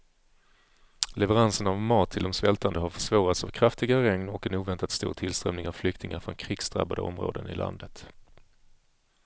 Leveranserna av mat till de svältande har försvårats av kraftiga regn och en oväntat stor tillströmning av flyktingar från krigsdrabbade områden i landet.